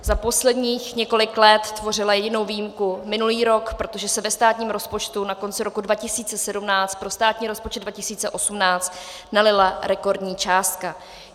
Za posledních několik let tvořil jedinou výjimku minulý rok, protože se ve státním rozpočtu na konci roku 2017 pro státní rozpočet 2018 nalila rekordní částka.